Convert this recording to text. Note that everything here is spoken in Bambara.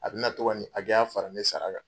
A bɛna to ka ni hakɛya fara ne sara kan.